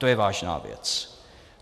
To je vážná věc.